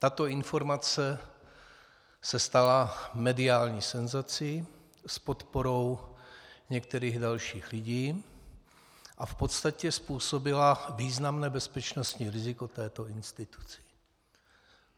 Tato informace se stala mediální senzací s podporou některých dalších lidí a v podstatě způsobila významné bezpečnostní riziko této instituci.